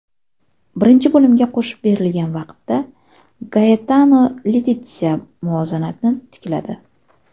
Birinchi bo‘limga qo‘shib berilgan vaqtda Gaetano Letitsia muvozanatni tikladi.